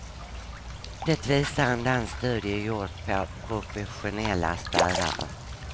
Det visar en dansk studie gjord på professionella städare.